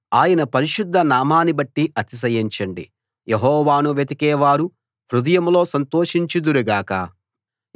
ఆయన పరిశుద్ధ నామాన్నిబట్టి అతిశయించండి యెహోవాను వెతికేవారు హృదయంలో సంతోషించుదురు గాక